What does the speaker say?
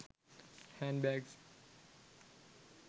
hand bags